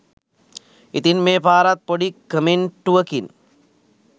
ඉතින් මේ පාරත් පොඩි කමෙන්ටුවකින්